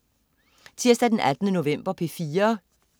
Tirsdag den 18. november - P4: